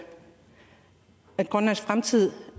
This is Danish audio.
grønlands fremtid